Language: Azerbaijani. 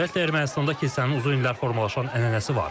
Ümumiyyətlə Ermənistandakı kilsənin uzun illər formalaşan ənənəsi var.